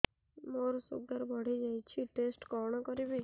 ମୋର ଶୁଗାର ବଢିଯାଇଛି ଟେଷ୍ଟ କଣ କରିବି